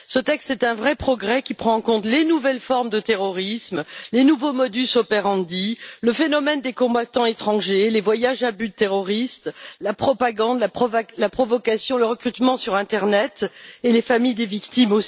Ce texte est un vrai progrès qui prend en compte les nouvelles formes de terrorisme, les nouveaux modus operandi le phénomène des combattants étrangers, les voyages à but terroriste, la propagande, la provocation, le recrutement sur internet, ainsi que les familles des victimes.